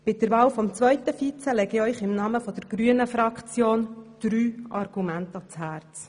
Bei der Wahl zum zweiten Vizepräsidenten lege ich Ihnen im Namen der grünen Fraktion drei Argumente ans Herz: